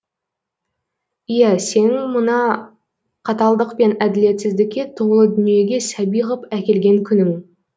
иә сенің мына қаталдық пен әділетсіздікке толы дүниеге сәби ғып әкелген күнің